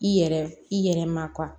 I yɛrɛ i yɛrɛ ma